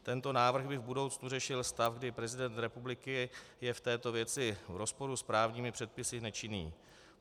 Tento návrh by v budoucnu řešil stav, kdy prezident republiky je v této věci v rozporu s právními předpisy nečinný.